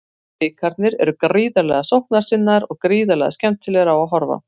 Blikarnir eru gríðarlega sóknarsinnaðir og gríðarlega skemmtilegir á að horfa.